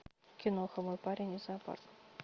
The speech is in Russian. киноха мой парень из зоопарка